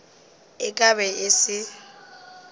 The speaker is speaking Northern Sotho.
e ka be e se